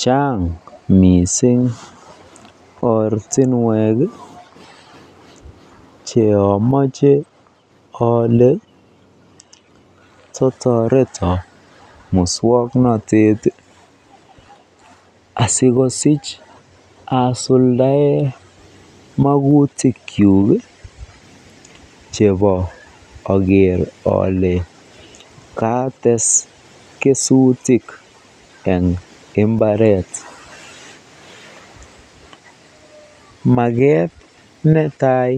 Chaang mising ortinwek cheomache ole totoreto muswoknotet asikosich asuldae magutikyuk chebo oker ole kaates kesutik eng mbaret. Maket netai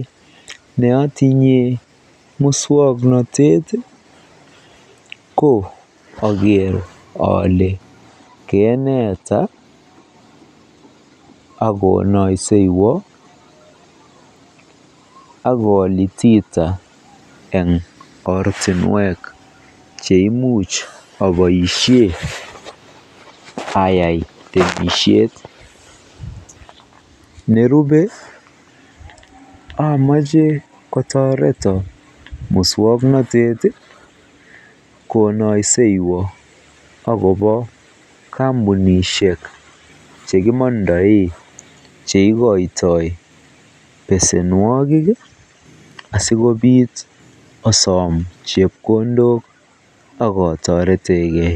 neotinye muswoknotet ko oker ole keneta akonoyseywo akolitiita eng ortinwek cheimuch aboisie ayai temisiet. Nerubei amache kotoreto muswoknotet konoyseywo akobo kampunishek chekimondoei cheikoitoi besenwogik asikobiit asom chepkondok akotoretegei.